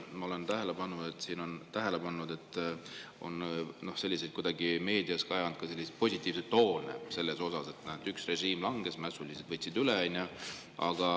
Ma olen tähele pannud, et meedias on kajanud ka positiivseid toone selle kohta, et näed, üks režiim langes, mässulised võtsid üle.